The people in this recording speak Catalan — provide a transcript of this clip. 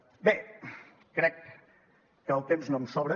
bé crec que el temps no em sobra